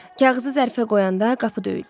Kağızı zərfə qoyanda qapı döyüldü.